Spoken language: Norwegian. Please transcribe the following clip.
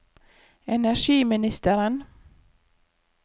energiministeren